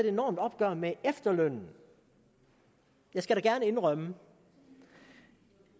enormt opgør med efterlønnen jeg skal gerne indrømme